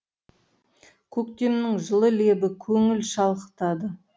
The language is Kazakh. көктемнің жылы лебі көңіл шалқытады